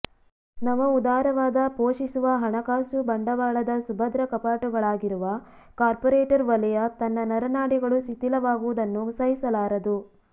ನವ ಉದಾರವಾದ ಪೋಷಿಸುವ ಹಣಕಾಸು ಬಂಡವಾಳದ ಸುಭದ್ರ ಕಪಾಟುಗಳಾಗಿರುವ ಕಾಪರ್ೋರೇಟ್ ವಲಯ ತನ್ನ ನರನಾಡಿಗಳು ಶಿಥಿಲವಾಗುವುದನ್ನು ಸಹಿಸಲಾರದು